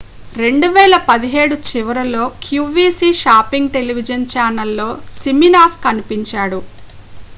2017 చివరిలో qvc shopping television ఛానల్లో siminoff కనిపించాడు